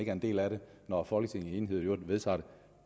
er en del af det når folketinget i enighed i øvrigt vedtager det